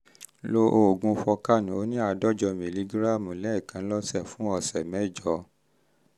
lo oògùn forcan oní àádọ́jọ mìlígíráàmù lẹ́ẹ̀kan lọ́sẹ̀ fún ọ̀sẹ̀ mẹ́jọ